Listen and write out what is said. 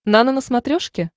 нано на смотрешке